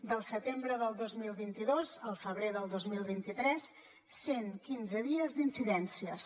del setembre del dos mil vint dos al febrer del dos mil vint tres cent quinze dies d’incidències